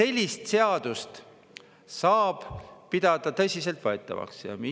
Kas sellist seadust saab pidada tõsiseltvõetavaks?